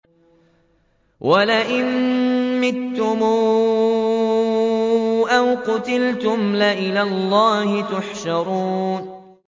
وَلَئِن مُّتُّمْ أَوْ قُتِلْتُمْ لَإِلَى اللَّهِ تُحْشَرُونَ